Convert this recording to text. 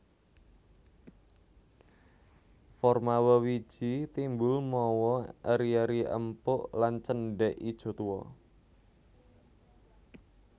Forma wewiji timbul mawa eri eri empuk lan cendhèk ijo tuwa